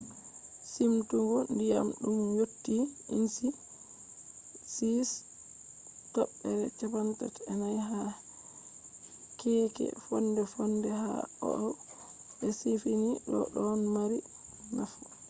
simtugo ndiyam ɗum yotti ínci 6.34 ha keeke fonde-fonde ha oahu be siifini do ɗon mari nafu